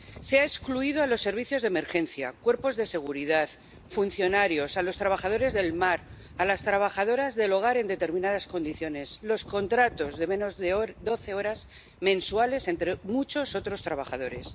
Se ha excluido a los servicios de emergencia, a los cuerpos de seguridad, a los funcionarios, a los trabajadores del mar, a las trabajadoras del hogar en determinadas condiciones y a quienes tienen contratos de menos de doce horas mensuales, entre muchos otros trabajadores.